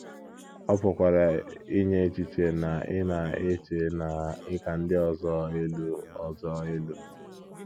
Ọ pụkwara inye echiche na ị na - eche na ị ka ndị ọzọ elu ọzọ elu.